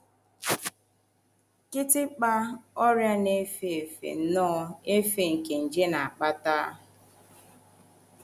Kịtịkpa: Ọrịa na - efe nnọọ efe nke nje na - akpata.